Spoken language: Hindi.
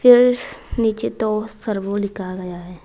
नीचे तो सर्वो लिखा गया है।